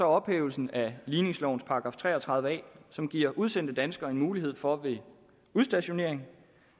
ophævelsen af ligningslovens § tre og tredive a som giver udsendte danskere en mulighed for ved udstationering